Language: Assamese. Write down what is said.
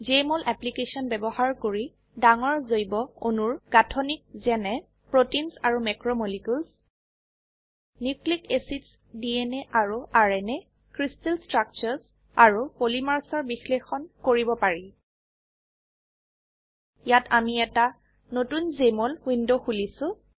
জেএমঅল এপলিকেছন বয়ৱহাৰ কৰি ডাঙৰ জৈব অণুৰ গাঠনিক যেনে প্ৰোটিনছ আৰু মেক্ৰোমলিকিউলছ নিউক্লিক এচিডছ DNA আৰু ৰ্ণা ক্ৰিষ্টেল ষ্ট্ৰাকচাৰ্ছ আৰু Polymersৰ বিশ্লেষণ কৰিব পাৰি ইয়াত আমি এটা নতুন জেএমঅল উইন্ডো খুলিছো